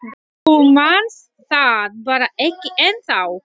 Þú manst það bara ekki ennþá.